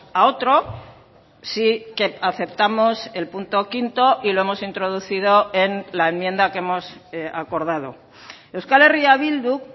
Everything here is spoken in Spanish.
a otro sí que aceptamos el punto quinto y lo hemos introducido en la enmienda que hemos acordado euskal herria bilduk